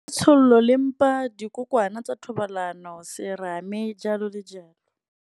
Tshololo le mpa, dikokwana tsa thobalano, serame jalo le jalo.